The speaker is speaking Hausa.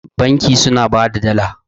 banki suna ba da Dala